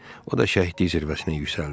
O da şəhidlik zirvəsinə yüksəldi."